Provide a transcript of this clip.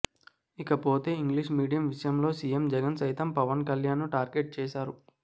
ఇకపోతే English medium విషయంలో CM Jagan సైతం పవన్ కళ్యాణ్ ను టార్గెట్ చేశారు